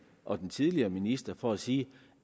og den tidligere minister for at sige